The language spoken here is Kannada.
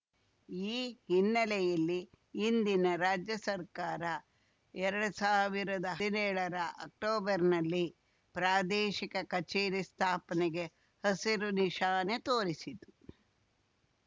ಈ ಹಿನ್ನೆಲೆಯಲ್ಲಿ ಹಿಂದಿನ ರಾಜ್ಯ ಸರ್ಕಾರ ಎರಡು ಸಾವಿರದ ಹದಿನೇಳರ ಅಕ್ಟೋಬರ್‌ನಲ್ಲಿ ಪ್ರಾದೇಶಿಕ ಕಚೇರಿ ಸ್ಥಾಪನೆಗೆ ಹಸಿರು ನಿಶಾನೆ ತೋರಿಸಿತ್ತು